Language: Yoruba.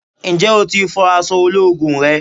Ǹjẹ́ o tí ń fọ àsọ ológun rẹ?